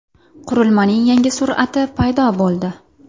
Qurilmaning yangi surati paydo bo‘ldi.